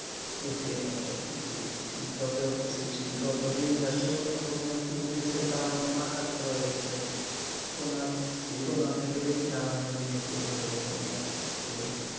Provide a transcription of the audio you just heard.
বুঝতেই পারছ যত যত~ যত দিন যাচ্ছে তত তো মনে হচ্ছে জিনিসের দাম একদম আকাশছোঁয়া হয়ে যাচ্ছে সোনা সোনার থেকে বেশি দাম এখন জিনিসেরই হয়ে যাচ্ছে মনে হচ্ছে দিন দিন